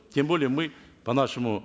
тем более мы по нашему